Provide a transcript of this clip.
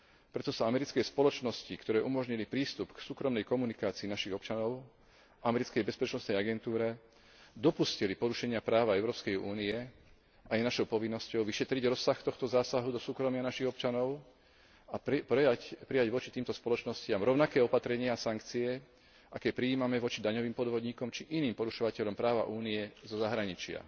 Preto sa americké spoločnosti, ktoré umožnili prístup k súkromnej komunikácii našich občanov americkej bezpečnostnej agentúre, dopustili porušenia práva Európskej únie a je našou povinnosťou vyšetriť rozsah tohto zásahu do súkromia našich občanov a prijať voči týmto spoločnostiam rovnaké opatrenia a sankcie, aké prijímame voči daňovým podvodníkom či iným porušovateľom práva Únie zo zahraničia.